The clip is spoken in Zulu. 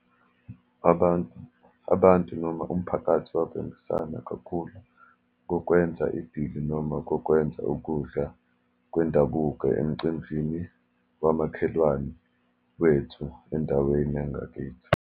Abantu, abantu, noma umphakathi wabambisana kakhulu kokwenza idili, noma kokwenza ukudla kwendabuko emcimbini wamakhelwane wethu, endaweni yangakithi.